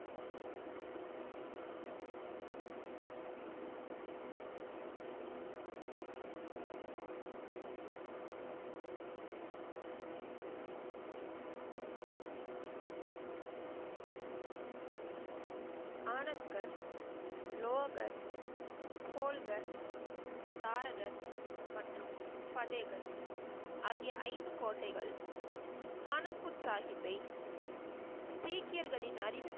ஆனத்கர், லோகர், போல்கர், தாரகர் மற்றும் பதேகர் ஆகிய ஐந்து கோட்டைகள் ஆனந்த்பூர் சாஹிப்பை, சீக்கியர்களின் அறிவு